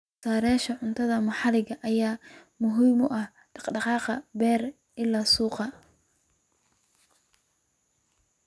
Soosaarayaasha cuntada maxalliga ah ayaa muhiim u ah dhaqdhaqaaqa beer-ilaa-suuqa.